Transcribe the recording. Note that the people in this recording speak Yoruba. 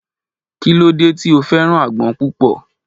kí ló dé tí o fẹ́ràn àgbon púpò